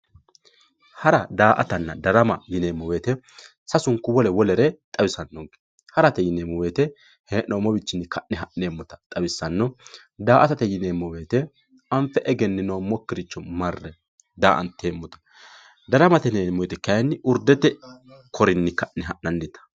Hara daa`atana darama yinemowoyite sasunku wole wolere xawisano harate yinemo woyit heenomo wiini ka`ne hanemota xawisano daa`atate yinemo woyite anfe egeninomokiricho marre da`antemote daramate yinemoti kayi urdete korkatini ka`ne ha`nanita.